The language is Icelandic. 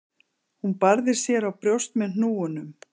Hún barði sér á brjóst með hnúunum.